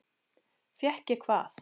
Fékk ég hvað?